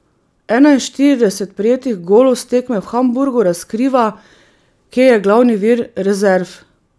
Enainštirideset prejetih golov s tekme v Hamburgu razkriva, kje je glavni vir rezerv.